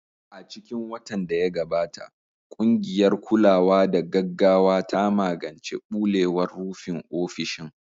A cikin watan da ya gabata, ƙungiyar kulawa da gaggawa ta magance ɓulewar rufin ofishin.